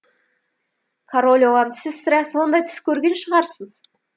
король оған сіз сірә сондай түс көрген шығарсыз